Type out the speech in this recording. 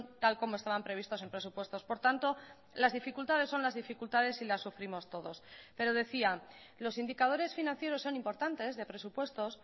tal como estaban previstos en presupuestos por tanto las dificultades son las dificultades y las sufrimos todos pero decía los indicadores financieros son importantes de presupuestos